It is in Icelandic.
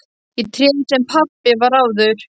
Ég tréð sem pabbi var áður.